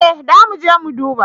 Ee zamuje mu duba.